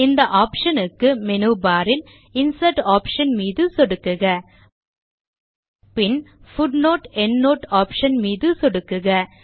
இந்த ஆப்ஷன் க்கு menu bar இல் இன்சர்ட் ஆப்ஷன் மீது சொடுக்குக பின் footnoteஎண்ட்னோட் ஆப்ஷன் மீது சொடுக்குக